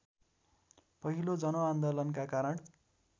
पहिलो जनआन्दोलनका कारण